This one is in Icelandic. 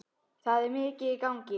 Það er mikið í gangi.